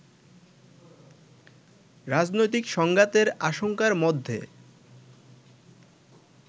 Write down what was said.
রাজনৈতিক সংঘাতের আশঙ্কার মধ্যে